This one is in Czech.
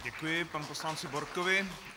Děkuji panu poslanci Borkovi.